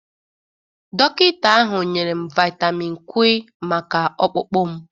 Dọkịta ahụ nyere m vitamịn Kwi maka ọkpụkpụ m.